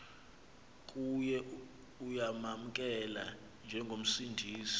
kuye uyamamkela njengomsindisi